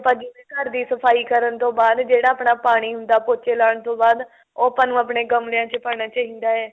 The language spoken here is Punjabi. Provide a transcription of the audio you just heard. ਆਪਾਂ ਜਿਵੇਂ ਘਰ ਦੀ ਸਫਾਈ ਕਰਨ ਤੋਂ ਬਾਅਦ ਜਿਹੜਾ ਆਪਣਾ ਪਾਣੀ ਹੁੰਦਾ ਪੋਚੇ ਲਾਉਣ ਤੋਂ ਬਾਅਦ ਉਹ ਆਪਾਂ ਨੂੰ ਆਪਣੇ ਗਮਲਿਆਂ ਚ ਪਾਣਾ ਚਾਹੀਦਾ